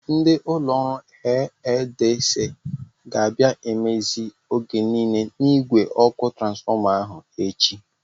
Ndị ụlọ ọrụ EEDC ga-abia mmezie oge niile n'igwe ọkụ transfọma ahụ echi.